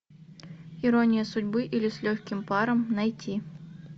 ирония судьбы или с легким паром найти